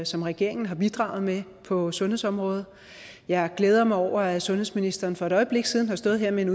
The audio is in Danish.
som regeringen har bidraget med på sundhedsområdet jeg glæder mig over at sundhedsministeren for et øjeblik siden har stået her med en